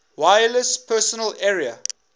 wireless personal area